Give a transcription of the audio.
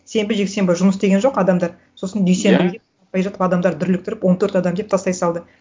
сенбі жексенбі жұмыс істеген жоқ адамдар сосын адамдарды дүрліктіріп он төрт адам деп тастай салды